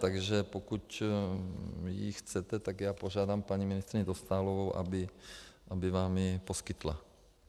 Takže pokud ji chcete, tak já požádám paní ministryni Dostálovou, aby vám ji poskytla.